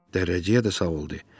Dərrəcik də savablıdır.